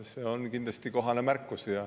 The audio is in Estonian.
See on kindlasti kohane märkus.